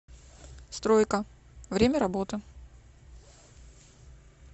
стройка время работы